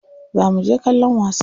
Za muje kallon wasa.